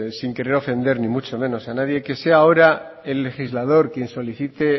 sin querer ofender ni mucho menos a nadie que sea ahora el legislador quien solicite